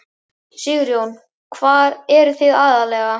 Sigurður: Hvar eruð þið aðallega?